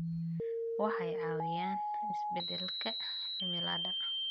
Waxay caawiyaan isbeddelka cimilada.